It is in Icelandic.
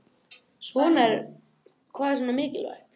Hvað er svona mikilvægt